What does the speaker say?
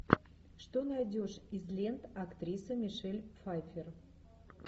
что найдешь из лент актриса мишель пфайффер